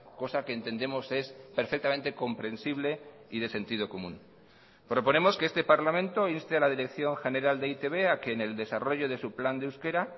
cosa que entendemos es perfectamente comprensible y de sentido común proponemos que este parlamento inste a la dirección general de e i te be a que en el desarrollo de su plan de euskera